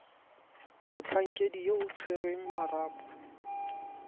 motlhankedi yo o tshwereng marapo